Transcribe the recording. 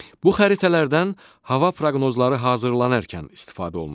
Bu xəritələrdən hava proqnozları hazırlanarkən istifadə olunur.